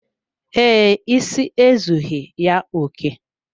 Ee, isi ezughi ya oké.